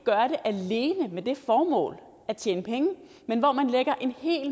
alene med det formål at tjene penge men hvor man lægger en hel